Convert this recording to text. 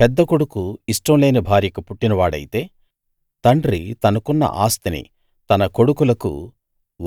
పెద్ద కొడుకు ఇష్టం లేని భార్యకు పుట్టిన వాడైతే తండ్రి తనకున్న ఆస్తిని తన కొడుకులకు